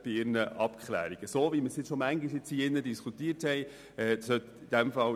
Das entspricht der grundsätzlichen Idee, wie wir diese schon oft in diesem Saal diskutiert haben.